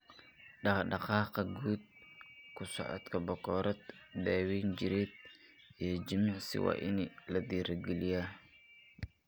Dhaqdhaqaaqa guud, ku socodka bakoorad, daawayn jireed, iyo jimicsi waa in la dhiirigeliyaa.